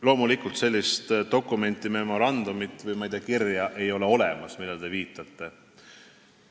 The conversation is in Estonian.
Loomulikult, sellist dokumenti, memorandumit või kirja, millele te viitate, ei ole olemas.